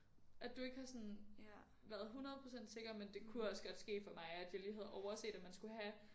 At du ikke har sådan været 100% sikker men det kunne godt ske for mig at jeg lige havde overset at man skulle have